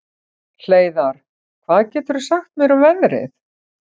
Hleiðar, hvað geturðu sagt mér um veðrið?